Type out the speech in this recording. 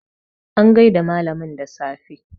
an gaida malamin da safe